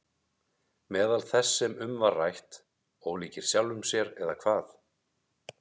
Meðal þess sem um var rætt: Ólíkir sjálfum sér eða hvað?